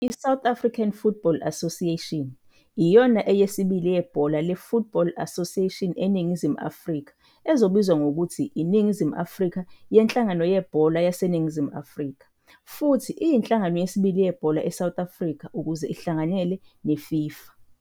I-South African Football Association iyona eyesibili yebhola le-Football Association eNingizimu Afrika ezobizwa ngokuthi iNingizimu Afrika Yenhlangano Yenhlangano Yebhola YaseNingizimu Afrika futhi iyinhlangano yesibili yebhola e-South Africa ukuze ihlanganyele neFIFA.